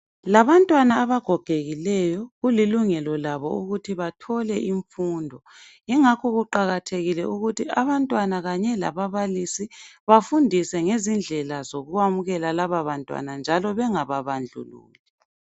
Labantwana abagogekileyo kulilungelo labo ukuthi bethole imfundo yingakho kuqakathekile ukuthi abantwana kanye labablisi bafundiswe ngezindlela zokwamukela laba bantwana njalo bengababandlululi.